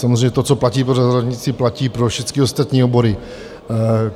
Samozřejmě to, co platí pro zdravotnictví, platí pro všecky ostatní obory.